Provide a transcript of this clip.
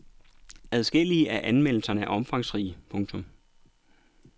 Adskillige af anmeldelserne er omfangsrige. punktum